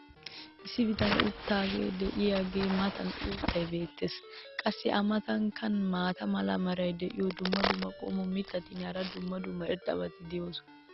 issi bitanee uttidaagee diyaagaa matan uuttay beetees. qassi a matankka maata mala meray diyo dumma dumma qommo mitattinne hara dumma dumma irxxabati de'oosona.